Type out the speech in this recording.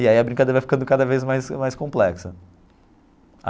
E aí a brincadeira vai ficando cada vez mais mais complexa.